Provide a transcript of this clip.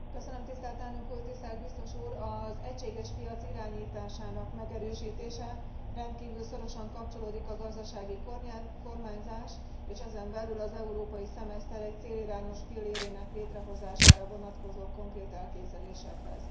Elnök Úr, tisztelt Biztos Úr, az egységes piac irányításának megerősítése rendkívül szorosan kapcsolódik a gazdasági kormányzás, és ezen belül az európai szemeszter egy célirányos pillérének létrehozására vonatkozó konkrét elképzelésekhez.